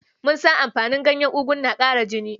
Mun san amfanin ganyen ogu na ƙarin jini